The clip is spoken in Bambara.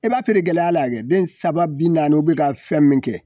I b'a feere gɛlɛyaya la kɛ, den saba bi naani i bɛka fɛn min kɛ.